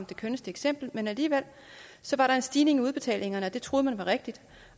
det kønneste eksempel men alligevel var der en stigning i udbetalingerne det troede man var rigtigt